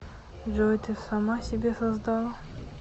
джой ты сама себя создала